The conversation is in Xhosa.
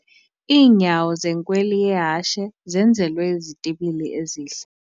Iinyawo zenkweli yehashe zenzelwe izitibili ezihle.